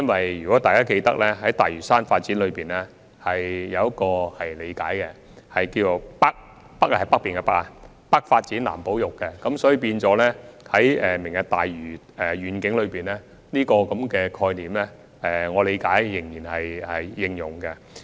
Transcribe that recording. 相信大家也記得，關於大嶼山的發展有一個理解，那便是"北發展、南保育"，而根據我的理解，就"明日大嶼願景"，這個概念仍然適用。